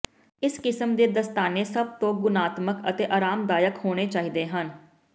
ਇਸ ਕਿਸਮ ਦੇ ਦਸਤਾਨੇ ਸਭ ਤੋਂ ਗੁਣਾਤਮਕ ਅਤੇ ਅਰਾਮਦਾਇਕ ਹੋਣੇ ਚਾਹੀਦੇ ਹਨ